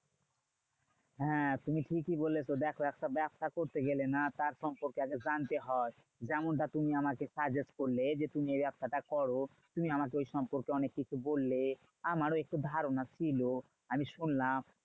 হ্যাঁ তুমি ঠিকই বলেছো। দেখো একটা ব্যবসা করতে গেলে না তার সম্পর্কে আগে জানতে হয়। যেমনটা তুমি আমাকে suggest করলে যে, তুমি এই ব্যাবসাটা করো। তুমি আমাকে ওই সম্পর্কে অনেককিছু বললে। আমারও একটু ধারণা ছিল। আমি শুনলাম।